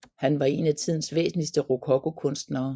Han var en af tidens væsentligste rokokokunstnere